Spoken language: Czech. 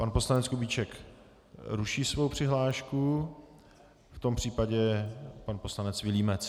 Pan poslanec Kubíček ruší svou přihlášku, v tom případě pan poslanec Vilímec.